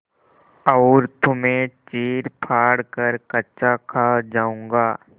और तुम्हें चीरफाड़ कर कच्चा खा जाऊँगा